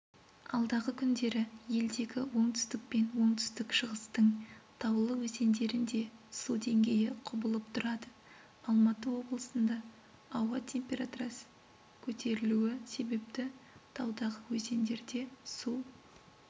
алдағы күндері елдегі оңтүстік пен оңтүстік-шығыстың таулы өзендерінде су деңгейі құбылып тұрады алматы облысында ауа температрасы көтерілуі себепті таудағы өзендерде су